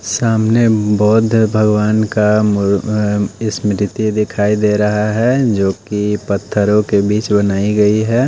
सामने बौद्ध भगवान का मूर अ स्मृति दिखाई दे रहा है जो कि पत्थरों के बीच बनाई गई है।